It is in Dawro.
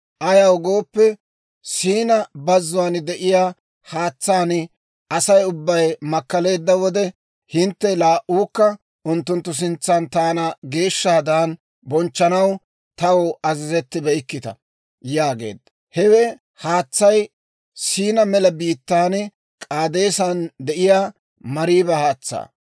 Ayaw gooppe, S'iina Bazzuwaan de'iyaa haatsaan Asay ubbay makkaleedda wode, hintte laa"uukka unttunttu sintsan taana geeshshaadan bonchchanaw taw azazettibeykkita» yaageedda. Hewe haatsay S'iina mela biittaan, K'aadeesan de'iyaa Mariiba haatsaa.